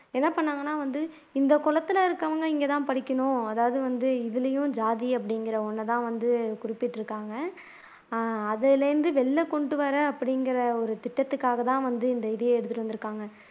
என்ன பண்ணாங்கன்னா வந்து இந்த குலத்துல இருக்கவங்க இங்கதான் படிக்கணும் அதாவது வந்து இதுலயும் ஜாதி அப்படிங்கிற ஒன்னைத்தான் வந்து குறிப்பிட்டு இருக்காங்க அதுல இருந்து வெளில கொண்டு வரேன் அப்படிங்கிற ஒரு திட்டத்துக்காகத்தான் வந்து ஒரு இதையே எடுத்துட்டு வந்து இருக்கிறாங்க